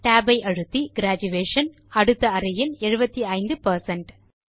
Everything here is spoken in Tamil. TAB ஐ அழுத்தி கிரேஜுயேஷன் அடுத்த அறையில் 75 பெர்சென்ட்